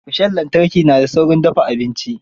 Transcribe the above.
Rishon lantarki na da saurin dafa abinci